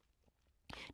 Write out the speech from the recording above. DR2